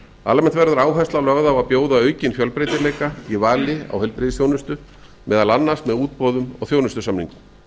almennt verður áhersla lögð að bjóða aukinn fjölbreytileika í talin á heilbrigðisþjónusta meðal annars með útboðum og þjónustusamningum